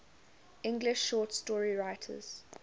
english short story writers